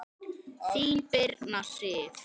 Þín, Birna Sif.